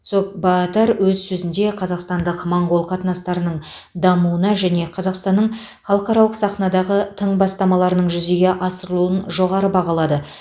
цогтбаатар өз сөзінде қазақстандық моңғол қатынастарының дамуына және қазақстанның халықаралық сахнадағы тың бастамаларының жүзеге асырылуын жоғары бағалады